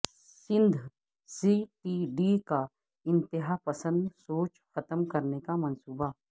Sindh C T D کا انتہا پسند سوچ ختم کرنے کامنصوبہ